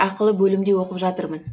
ақылы бөлімде оқып жатырмын